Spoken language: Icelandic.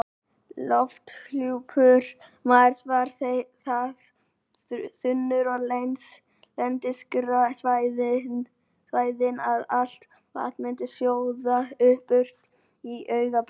Lofthjúpur Mars er það þunnur við lendingarsvæðin að allt vatn myndi sjóða burt á augabragði.